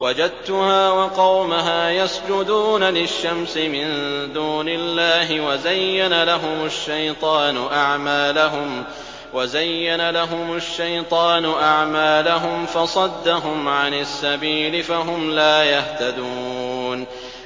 وَجَدتُّهَا وَقَوْمَهَا يَسْجُدُونَ لِلشَّمْسِ مِن دُونِ اللَّهِ وَزَيَّنَ لَهُمُ الشَّيْطَانُ أَعْمَالَهُمْ فَصَدَّهُمْ عَنِ السَّبِيلِ فَهُمْ لَا يَهْتَدُونَ